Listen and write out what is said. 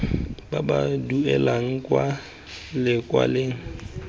ba ba duelang kwa lekaleng